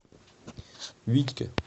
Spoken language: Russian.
витьке